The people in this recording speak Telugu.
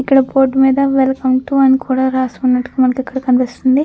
ఇక్కడ బోర్డ్ మీద వెల్కమ్ టు అని కూడా రాసుకున్నట్టుగా మనకి ఇక్కడ కనిపిస్తుంది.